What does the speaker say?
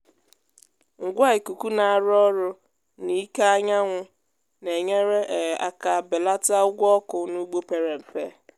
ngwa ikuku na-arụ ọrụ n’ike anyanwụ na-enyere um aka belata ụgwọ ọkụ n’ugbo pere mpe.